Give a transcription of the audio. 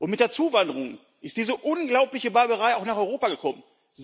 Mit der Zuwanderung ist diese unglaubliche Barbarei auch nach Europa gekommen.